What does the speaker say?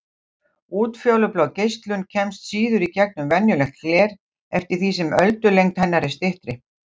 Útfjólublá geislun kemst síður í gegnum venjulegt gler eftir því sem öldulengd hennar er styttri.